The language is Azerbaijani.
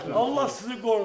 Allah sizi qorusun.